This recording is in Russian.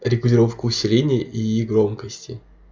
регулировка усиления ии громкости